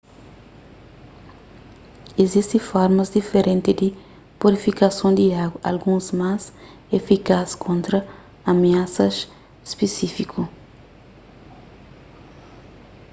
izisti formas diferenti di purifikason di agu alguns más efikaz kontra amiasas spisífiku